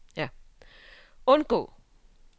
undgå